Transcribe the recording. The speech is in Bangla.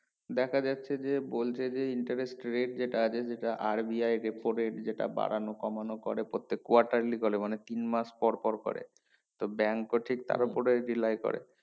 দেখাযাচ্ছে যে বলছে যে interest rate যেটা আছে যেটা RBI যেটা বাড়ানো কমানো করে প্রত্যেক quarterly চলে মানে তিন মাস পর করে তো bank ও ঠিক তার উপরে rely করে